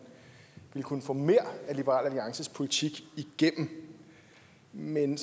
ville kunne få mere af liberal alliances politik igennem men